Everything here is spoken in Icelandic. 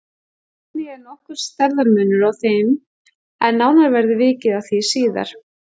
Einnig er nokkur stærðarmunur á þeim en nánar verður vikið að því síðar.